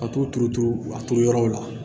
Ka t'u turuturu a turu yɔrɔw la